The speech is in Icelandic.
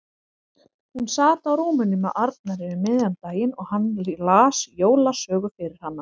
Hún sat á rúminu með Arnari um miðjan daginn og hann las jólasögu fyrir hana.